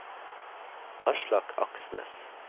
Aslak Aksnes